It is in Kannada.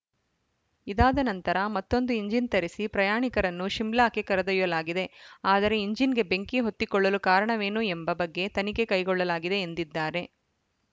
ಇದಾದ ನಂತರ ಮತ್ತೊಂದು ಇಂಜಿನ್‌ ತರಿಸಿ ಪ್ರಯಾಣಿಕರನ್ನು ಶಿಮ್ಲಾಕ್ಕೆ ಕರೆದೊಯ್ಯಲಾಗಿದೆ ಆದರೆ ಇಂಜಿನ್‌ಗೆ ಬೆಂಕಿ ಹೊತ್ತಿಕೊಳ್ಳಲು ಕಾರಣವೇನು ಎಂಬ ಬಗ್ಗೆ ತನಿಖೆ ಕೈಗೊಳ್ಳಲಾಗಿದೆ ಎಂದಿದ್ದಾರೆ